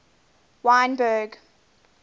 wynberg